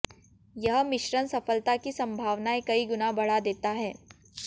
यह मिश्रण सफलता की संभावनाएं कई गुना बढ़ा देता है